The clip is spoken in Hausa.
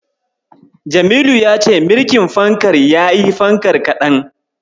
Jamilu ya ce mirƙin fankar yayi fankar kaɗan.